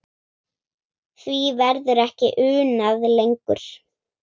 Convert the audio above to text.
Því verður ekki unað lengur.